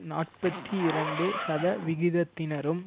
நாற்பத்தி இரண்டு சதவிகிதத்தினரும்